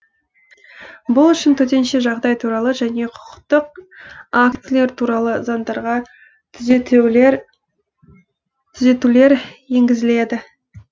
бұл үшін төтенше жағдай туралы және құқықтық актілер туралы заңдарға түзетулер енгізіледі